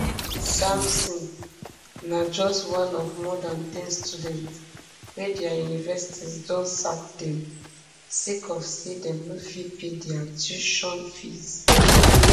samson na just one of more dan ten students wey dia universities don sack dem sake of say dem no fit pay dia tuition fees